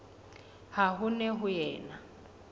ha ho ne ho ena